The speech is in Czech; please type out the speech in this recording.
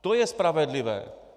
To je spravedlivé!